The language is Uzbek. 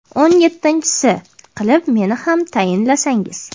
o‘n yettinchisi qilib meni ham tayinlasangiz.